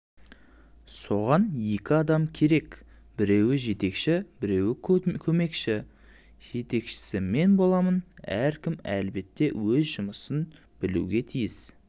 соған екі адам керек біреуі жетекші біреуі көмекші жетекшісі мен боламын әркім әлбетте өз жұмысын білуге тиіс